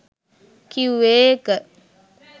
කිව්වේ ඒක